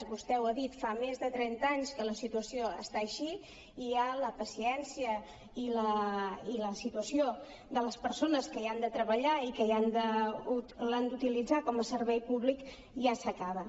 vostè ho ha dit fa més de trenta anys que la situació està així i ja la paciència i la situació de les persones que hi han de treballar i l’han d’utilitzar com a servei públic ja s’acaba